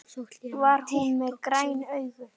Var hún með græn augu?